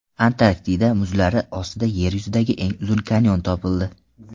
Antarktida muzlari ostida Yer yuzidagi eng uzun kanyon topildi.